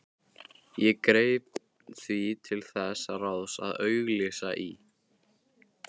Ég greip því til þess ráðs að auglýsa í